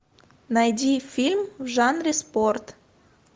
найди фильм в жанре спорт